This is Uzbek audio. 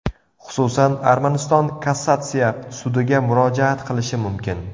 Xususan, Armaniston Kassatsiya sudiga murojaat qilinishi mumkin.